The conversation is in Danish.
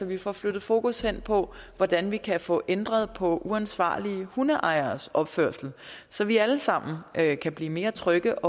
vi får flyttet fokus hen på hvordan vi kan få ændret på uansvarlige hundeejeres opførsel så vi alle sammen kan blive mere trygge